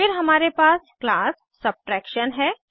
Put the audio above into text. फिर हमारे पास क्लास सबट्रैक्शन है